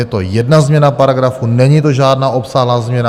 Je to jedna změna paragrafu, není to žádná obsáhlá změna.